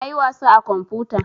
Na yi wasa a kamfuta